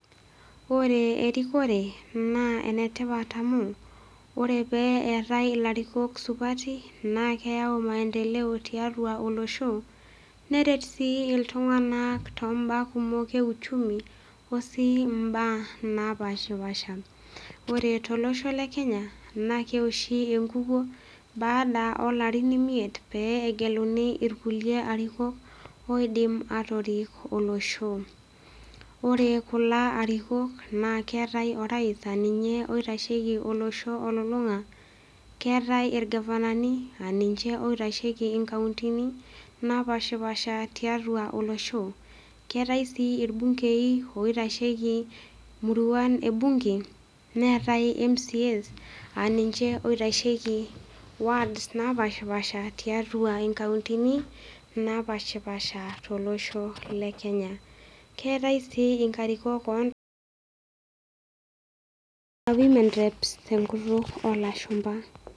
Ore erikore naa enetipat amu, ore pee eatai ilarikok supati naa keyau maendileo tiatua olosho, neret sii iltung'anak tiatua olosho, neret sii iltung'anak too imbaa kumok e uchumi, o sii imbaa napaashipapaasha. Ore tolosho le Kenya naa keoshi enkukuo baada, o larin imiet pee egeluni ilkulie arikok, oidim atorik olosho. Ore kulo arikok naa keatai orais naa ninye oitasheiki olosho olulung'a, keatai ilgavanani aa ninche oitasheiki inkauntini napaashipaasha tiatua olosho, keatai sii ilbung'ei oitasheiki imuruan e bung'e, neatai MCA's aa ninche oitasheiki wards napaashipaasha, tiatua inkauntini napaashipaasha tiatua olosho le Kenya. Keatai sii inkarikok oo nkituak aa women reps tenkoitoi oo lashumba.